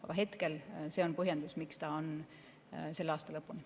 Aga praegu see on põhjendus, miks ta on selle aasta lõpuni.